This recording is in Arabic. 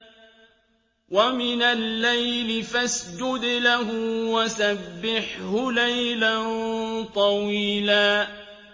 وَمِنَ اللَّيْلِ فَاسْجُدْ لَهُ وَسَبِّحْهُ لَيْلًا طَوِيلًا